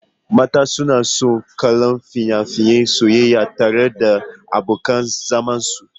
Mata suna son kallon fina-finan soyayya tare da abokan zamansu.